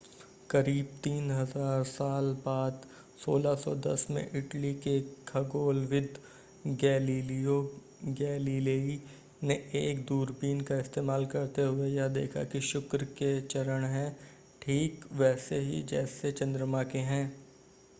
करीब 3000 साल बाद 1610 में इटली के खगोलविद गैलिलियो गैलीलेई ने एक दूरबीन का इस्तेमाल करते हुए यह देखा कि शुक्र के चरण हैं ठीक वैसे ही जैसे चंद्रमा के हैं